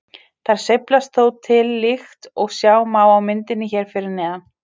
Þær sveiflast þó til líkt og sjá má á myndinni hér fyrir neðan.